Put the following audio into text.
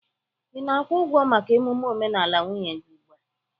Ị na-akwụ ụgwọ maka emume omenala nwunye gị ugbu a?